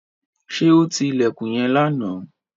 Ṣé ó ti ilẹ̀kùn yẹn lánàá?